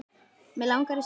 Mig langaði í stelpu.